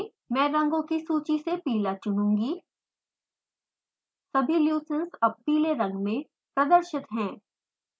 मैं रंगों की सूची से पीला चुनुंगी सभी leucines अब पीले रंग में प्रदर्शित हैं